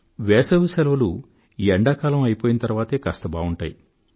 వేసవి శెలవులు ఎండాకాలం అయిపోయిన తరువాతే కాస్త బావుంటాయి